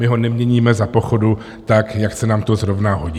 My ho neměníme za pochodu tak, jak se nám to zrovna hodí.